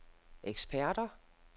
eksperter